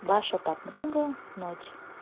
ваша подруга ночь